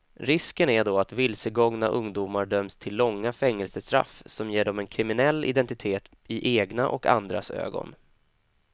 Risken är då att vilsegångna ungdomar döms till långa fängelsestraff som ger dem en kriminell identitet i egna och andras ögon.